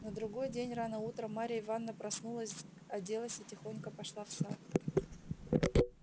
на другой день рано утром марья ивановна проснулась оделась и тихонько пошла в сад